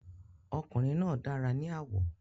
Ọkùnrin náà dára ní àwọ̀.